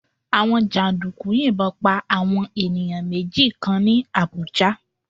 Àwọn jàǹdùkú yìnbọn pa àwọn ènìyàn méjì kan ní Àbújá